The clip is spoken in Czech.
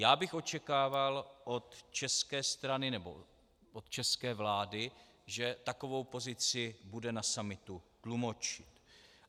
Já bych očekával od české strany nebo od české vlády, že takovou pozici bude na summitu tlumočit.